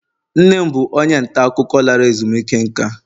nne m bụ onye nta akụkọ lara ezumike nka